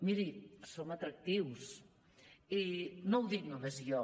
miri som atractius i no ho dic només jo